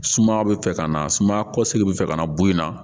Sumaya bɛ fɛ ka na sumaya kɔsigi bɛ fɛ ka na bo in na